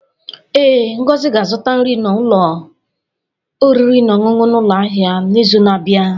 Ee, Ngozi ga-azụta nri n'ụlọ oriri na ọṅụṅụ n'ụlọ ahịa n'izu na-abịa.